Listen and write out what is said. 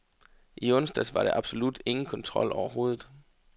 I onsdags var der absolut ingen kontrol overhovedet.